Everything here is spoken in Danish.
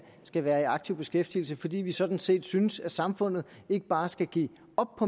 skal være i aktiv beskæftigelse fordi vi sådan set synes at samfundet ikke bare skal give op